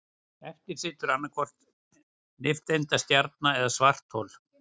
Eftir situr annaðhvort nifteindastjarna eða svarthol.